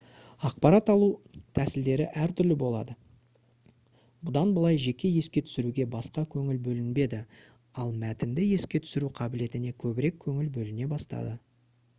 ақпарат алу тәсілдері әртүрлі болды бұдан былай жеке еске түсіруге баса көңіл бөлінбеді ал мәтінді еске түсіру қабілетіне көбірек көңіл бөліне бастады